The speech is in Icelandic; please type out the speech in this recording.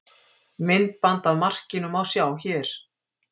Myndband af markinu má sjá hér